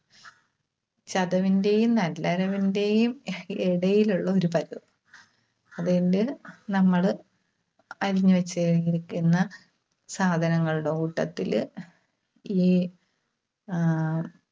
ചതവിന്റെയും നല്ല അരവിന്റെയും ഇടയിലുള്ള ഒരു പരുവം. നമ്മള് അരിഞ്ഞുവെച്ചുകഴിഞ്ഞിരിക്കുന്ന സാധനങ്ങളുടെ കൂട്ടത്തില് ഈ ആഹ് ഉം